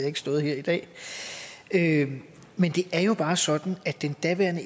ikke stået her i dag men det er jo bare sådan at den daværende